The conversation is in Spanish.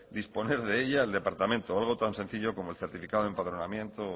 disponer de ella el departamento o algo tan sencillo como el certificado de empadronamiento